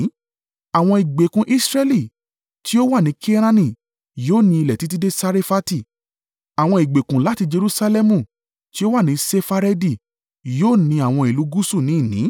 Àwọn ìgbèkùn Israẹli tí ó wà ní Kenaani yóò ni ilẹ̀ títí dé Sarefati; àwọn ìgbèkùn láti Jerusalẹmu tí ó wà ní Sefaredi yóò ni àwọn ìlú gúúsù ní ìní.